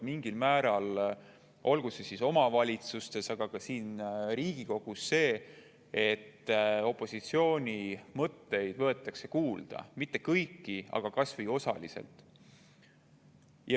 Tegelikult on alati olnud omavalitsustes, aga ka siin Riigikogus mingil määral nii, et opositsiooni mõtteid võetakse kuulda, kui mitte kõiki, siis kas või osaliselt.